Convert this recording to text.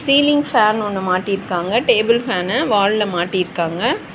Ceiling fan ஒன்னு மாட்டி இருக்காங்க டேபிள் ஃபேன்னு வால்ல மாட்டி இருக்காங்க.